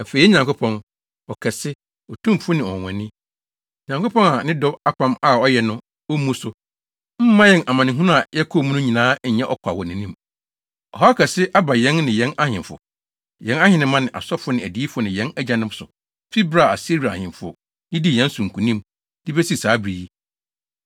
“Afei, yɛn Nyankopɔn, ɔkɛse, otumfo ne ɔnwonwani Nyankopɔn a ne dɔ apam a ɔyɛe no ommu so, mma yɛn amanehunu a yɛkɔɔ mu no nyinaa nnyɛ ɔkwa wɔ wʼanim. Ɔhaw kɛse aba yɛn ne yɛn ahemfo, yɛn ahenemma ne asɔfo ne adiyifo ne yɛn agyanom so fi bere a Asiria ahemfo didii yɛn so nkonim, de besi saa bere yi.